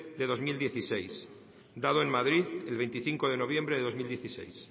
de dos mil dieciséis dado en madrid el veinticinco de noviembre de dos mil dieciséis